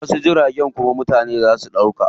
Wasu jiragun kuma mutane zaa su ɗauka.